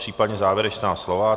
Případně závěrečná slova?